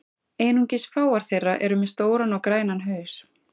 Einungis fáar þeirra eru með stóran og grænan haus.